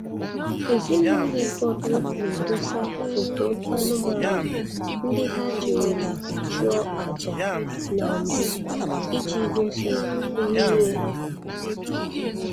Ezinụlọ ụfọdụ na-edosa foto anụmanụ ndị ha jirila chụọ aja na mbụ iji gosi nhụnye ha